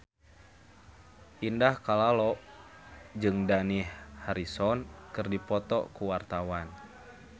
Indah Kalalo jeung Dani Harrison keur dipoto ku wartawan